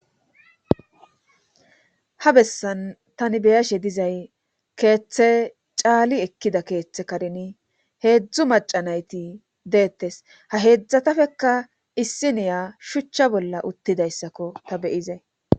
ha bessan tani beyashe dizay keeththe caali ekkida keeththe karni heedzdzu macanayti deettes ha heedzdzatafekka issi niya shuchcha bolla uttidayssakko ta beyizey